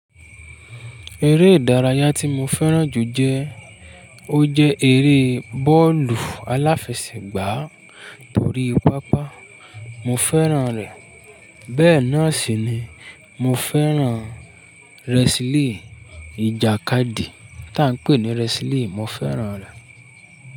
Eré ìdárayá tí mo fẹ́ràn jù jẹ, ó jẹ́ eré bọ́ọ̀lù aláfẹsẹ̀gbá torí pápá mo fẹ́ràn rẹ̀. Bẹ́ẹ̀ náà sì ni mo fẹ́ràn rẹsílì ìjàkadì tí à ń pè ní rẹsílì, mo fẹ́ràn rẹ̀.